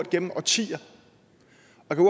igennem årtier